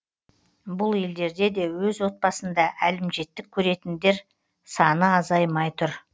бұл елдерде де өз отбасында әлімжеттік көретіндер саны азаймай тұр